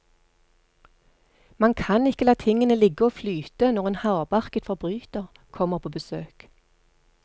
Man kan ikke la tingene ligge og flyte når en hardbarket forbryter kommer på besøk.